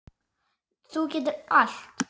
Þú getur allt.